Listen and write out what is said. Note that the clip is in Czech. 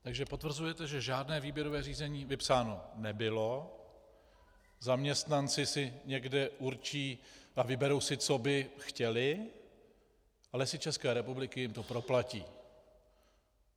Takže potvrzujete, že žádné výběrové řízení vypsáno nebylo, zaměstnanci si někde určí a vyberou si, co by chtěli, a Lesy České republiky jim to proplatí.